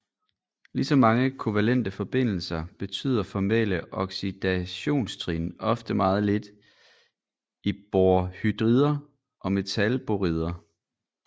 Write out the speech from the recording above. Ligesom mange kovalente forbindelser betyder formelle oxidationstrin ofte meget lidt i borhydrider og metalborider